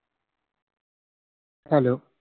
Hello